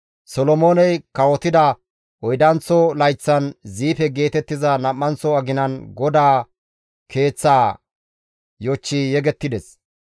Solomooney kawotida oydanththo layththan, Ziife geetettiza nam7anththo aginan GODAA Keeththaa yochchi yegettides.